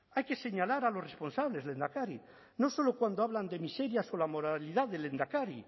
hay que señalar a los responsables lehendakari no solo cuando hablan de miserias o la moralidad del lehendakari